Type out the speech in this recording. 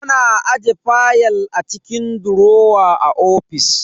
Ana ajiye fayal a cikin durowa a ofis.